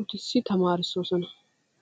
uttisi tamaarosona.